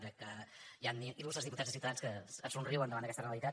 crec que hi han il·lustres diputats de ciutadans que es somriuen davant d’aquesta realitat